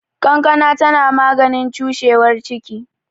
Kankana tana maganin cushewar ciki